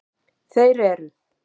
Þeir eru: